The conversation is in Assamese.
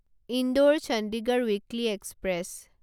Indore Chandigarh weekly express